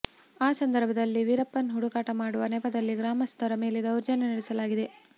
ಆ ಸಂದರ್ಭದಲ್ಲಿ ವೀರಪ್ಪನ್ ಹುಡುಕಾಟ ಮಾಡುವ ನೆಪದಲ್ಲಿ ಗ್ರಾಮಸ್ಥರ ಮೇಲೆ ದೌರ್ಜನ್ಯ ನಡೆಸಲಾಗಿದೆ